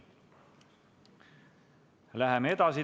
Läheme edasi.